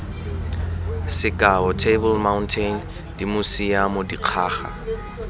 sekao table mountain dimosiamo dikgaga